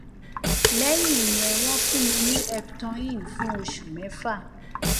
lẹyìn ìyẹn wọn fún mi ní eptoin fún oṣù mẹfà